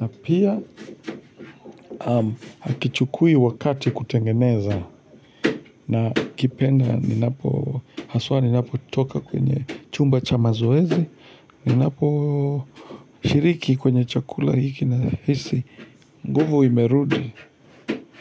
Na pia hakichukui wakati kutengeneza. Nakipenda haswa ninapotoka kwenye chumba cha mazoezi. Ninaposhiriki kwenye chakula hiki nahisi nguvu imerudi.